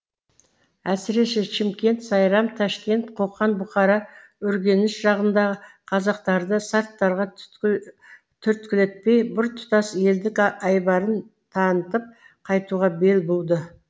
әсіресе шымкент сайрам тәшкент қоқан бұхара үргеніш жағындағы қазақтарды сарттарға түрткілетпей біртұтас елдік айбарын танытып қайтуға бел буды